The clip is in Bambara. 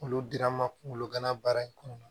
Olu dira n ma kungolo gana baara in kɔnɔna na